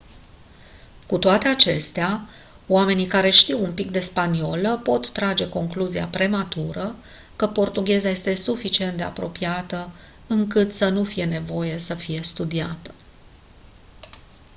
cu toate acestea oamenii care știu un pic de spaniolă pot trage concluzia prematură că portugheza este suficient de apropiată încât să nu fie nevoie să fie studiată